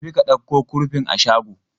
Tafi ka ɗauko kurfin a shago!